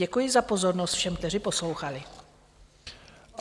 Děkuji za pozornost všem, kteří poslouchali.